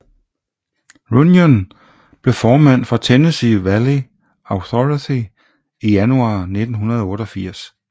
Runyon blev formand for Tennessee Valley Authority i januar 1988